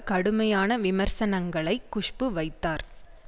கடுமையான விமர்சனங்களை குஷ்பு வைத்தார்